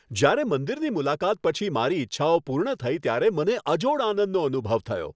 જ્યારે મંદિરની મુલાકાત પછી મારી ઇચ્છાઓ પૂર્ણ થઈ ત્યારે મને અજોડ આનંદનો અનુભવ થયો.